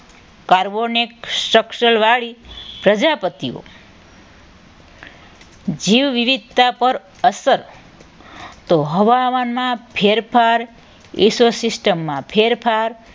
carbonate structure વાડી પ્રજાપતિઓ જીવ વિવિધતા પર અસર તો હવામાનમાં ફેરફાર eco system માં ફેરફાર